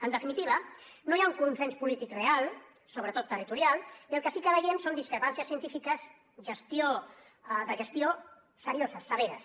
en definitiva no hi ha un consens polític real sobretot territorial i el que sí que veiem són discrepàncies científiques de gestió serioses severes